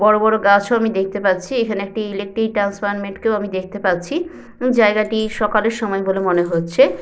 বড় বড় গাছ ও আমি দেখতে পাচ্ছি এখানে একটি ইলেক্ট্রিক ট্রান্সফরমেট কেও আমি দেখতে পাচ্ছি এবং জায়গাটি সকালের সময় বলে মনে হচ্ছে।